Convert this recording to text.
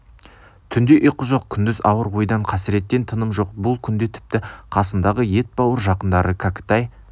түнде ұйқы жоқ күндіз ауыр ойдан қасіреттен тыным жоқ бұл күнде тіпті қасындағы етбауыр жақындары кәкітай